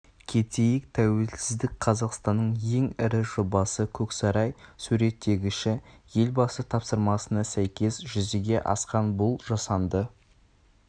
кетейік тәуелсіздік қазақстанның ең ірі жобасы көксарай суреттегіші елбасы тапсырмасына сәйкес жүзеге асқан бұл жасанды